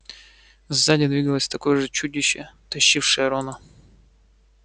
сзади двигалось такое же чудище тащившее рона